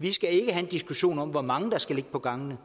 vi skal en diskussion om hvor mange der skal ligge på gangene